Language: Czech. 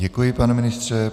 Děkuji, pane ministře.